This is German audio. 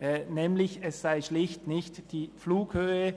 Es sei schlicht nicht die Flughöhe